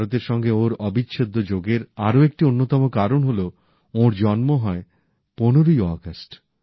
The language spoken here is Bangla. ভারতের সঙ্গে ওঁর অবিচ্ছেদ্য যোগের আরো একটি অন্যতম কারণ হলো ওঁর জন্ম হয় ১৫ই আগস্ট